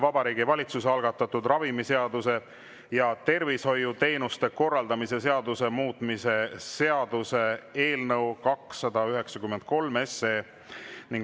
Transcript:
Vabariigi Valitsuse algatatud ravimiseaduse ja tervishoiuteenuste korraldamise seaduse muutmise seaduse eelnõu 293.